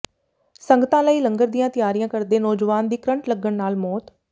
ਸੰਗਤਾਂ ਲਈ ਲੰਗਰ ਦੀਆਂ ਤਿਆਰੀਆਂ ਕਰਦੇ ਨੌਜਵਾਨ ਦੀ ਕਰੰਟ ਲੱਗਣ ਨਾਲ ਮੌਤ